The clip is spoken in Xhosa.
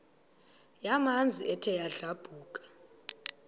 yamanzi ethe yadlabhuka